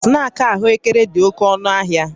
Snaakị ahụekere dị oke ọnụ ahịa